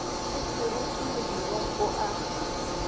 le seroto modirong o a